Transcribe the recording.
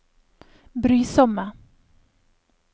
brysomme